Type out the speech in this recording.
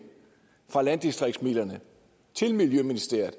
fra landdistriktsmidlerne til miljøministeriet